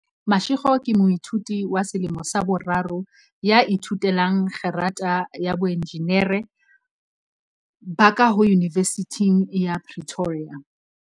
Mashego ke moithuti wa selemo sa boraro ya ithute lang kgerata ya boenjinere ba kaho Yunivesithing ya Pretoria.